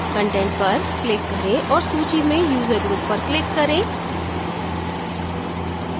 content पर click करें और सूची में user group पर click करें